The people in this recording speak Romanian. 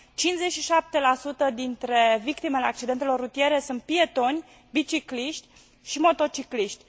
57 dintre victimele accidentelor rutiere sunt pietoni, bicicliști și motocicliști.